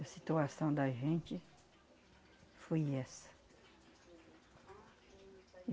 A situação da gente foi essa.